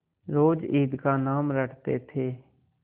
रोज ईद का नाम रटते थे